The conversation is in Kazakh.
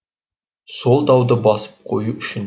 сол дауды басып қою үшін